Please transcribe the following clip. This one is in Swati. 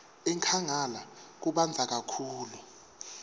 enkhangala kubandza kakhulu